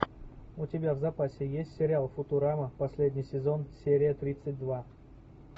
у тебя в запасе есть сериал футурама последний сезон серия тридцать два